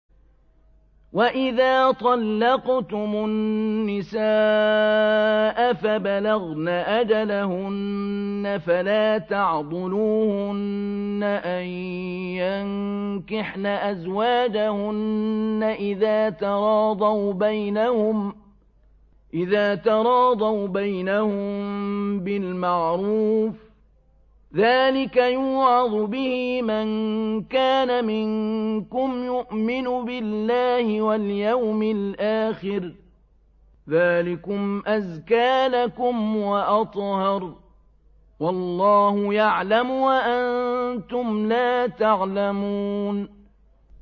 وَإِذَا طَلَّقْتُمُ النِّسَاءَ فَبَلَغْنَ أَجَلَهُنَّ فَلَا تَعْضُلُوهُنَّ أَن يَنكِحْنَ أَزْوَاجَهُنَّ إِذَا تَرَاضَوْا بَيْنَهُم بِالْمَعْرُوفِ ۗ ذَٰلِكَ يُوعَظُ بِهِ مَن كَانَ مِنكُمْ يُؤْمِنُ بِاللَّهِ وَالْيَوْمِ الْآخِرِ ۗ ذَٰلِكُمْ أَزْكَىٰ لَكُمْ وَأَطْهَرُ ۗ وَاللَّهُ يَعْلَمُ وَأَنتُمْ لَا تَعْلَمُونَ